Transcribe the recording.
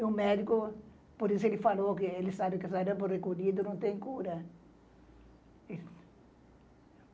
E o médico, por isso ele falou que ele sabe que o sarampo recolhido não tem cura.